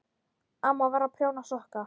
Amma var að prjóna sokka.